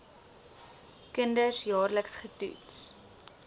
kinders jaarliks getoets